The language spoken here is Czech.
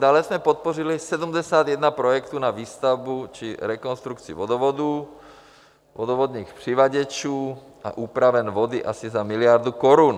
Dále jsme podpořili 71 projektů na výstavbu či rekonstrukci vodovodů, vodovodních přivaděčů a úpraven vody asi za miliardu korun.